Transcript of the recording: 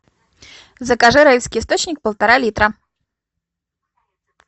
закажи райский источник полтора литра